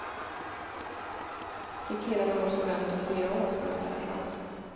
De killarna måste vänta fyra år på nästa chans.